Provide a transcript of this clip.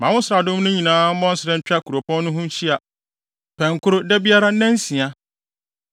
Ma wo nsraadɔm no nyinaa mmɔ nsra ntwa kuropɔn no ho nhyia pɛnkoro da biara nnansia.